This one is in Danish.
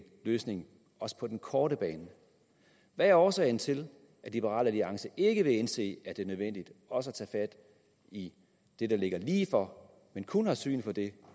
løsning også på den korte bane hvad er årsagen til at liberal alliance ikke vil indse at det er nødvendigt også at tage fat i det der ligger lige for men kun har syn for det